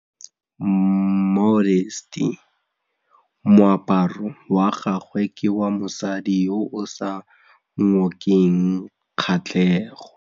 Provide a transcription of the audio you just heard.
Moaparô wa gagwe ke wa mosadi yo o sa ngôkeng kgatlhegô.